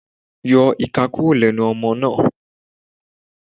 Yọ ìka kúrò lẹ́nu ọmọ náà.